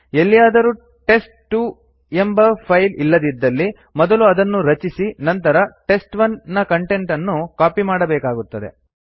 ಎಲ್ಲಿಯಾದರೂ ಟೆಸ್ಟ್2 ಎಂಬ ಫೈಲ್ ಇಲ್ಲದಿದ್ದಲ್ಲಿ ಮೊದಲು ಅದನ್ನು ರಚಿಸಿ ನಂತರ ಟೆಸ್ಟ್1 ನ ಕಂಟೆಂಟ್ ಅನ್ನು ಕಾಪಿ ಮಾಡಬೇಕಾಗುತ್ತದೆ